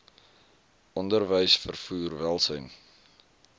onderwys vervoer welsyn